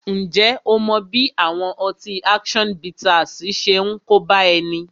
Ǹjẹ́ ó mọ bí àwọn ọtí action bittersi ṣe ń kóbá ẹni?